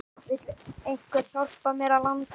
Vill einhver hjálpa mér að landa?